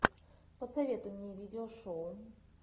посоветуй мне видео шоу